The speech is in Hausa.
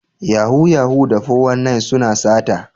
Yahoo Yahoo da 419 suna sata.